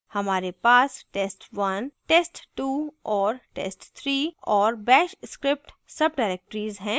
हमारे bash test test2 और test3 और bash script subdirectories हैं